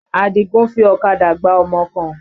Àdìgún fi ọ̀kadà gbá ọmọ kan.